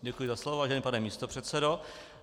Děkuji za slovo, vážený pane místopředsedo.